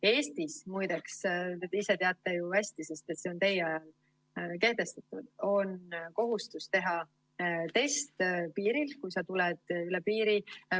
Eestis, muideks, ise teate ju hästi, sest see on teie ajal kehtestatud, on kohustus teha test piiril, kui sa tuled üle piiri.